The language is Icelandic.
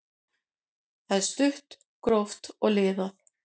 Það er stutt, gróft og liðað.